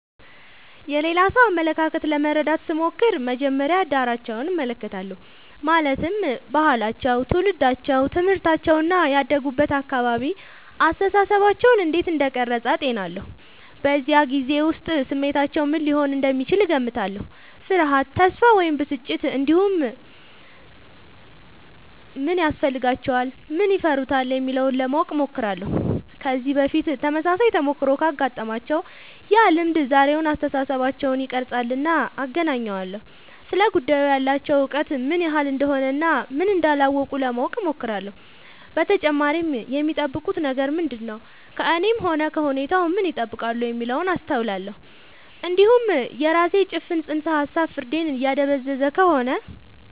የሌላ ሰው አመለካከት ለመረዳት ስሞክር መጀመሪያ ዳራቸውን እመለከታለሁ ማለትም ባህላቸው ትውልዳቸው ትምህርታቸው እና ያደጉበት አካባቢ አስተሳሰባቸውን እንዴት እንደቀረጸ አጤናለሁ በዚያ ጊዜ ውስጥ ስሜታቸው ምን ሊሆን እንደሚችል እገምታለሁ ፍርሃት ተስፋ ወይም ብስጭት እንዲሁም ምን ያስፈልጋቸዋል ምን ይፈሩታል የሚለውን ለማወቅ እሞክራለሁ ከዚህ በፊት ተመሳሳይ ተሞክሮ ካጋጠማቸው ያ ልምድ ዛሬውን አስተሳሰባቸውን ይቀርፃልና አገናኘዋለሁ ስለ ጉዳዩ ያላቸው እውቀት ምን ያህል እንደሆነ እና ምን እንዳላወቁ ለማወቅ እሞክራለሁ በተጨማሪም የሚጠብቁት ነገር ምንድነው ከእኔም ሆነ ከሁኔታው ምን ይጠብቃሉ የሚለውን አስተውላለሁ እንዲሁም የራሴ ጭፍን ጽንሰ ሀሳብ ፍርዴን እያደበዘዘ ከሆነ